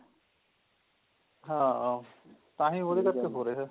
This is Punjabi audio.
ਹਾਂ ਤਾਹਿ ਉਹਦੇ ਕਰਕੇ ਹੋ ਰਿਹਾ